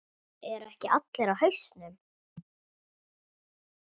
Eru ekki allir á hausnum?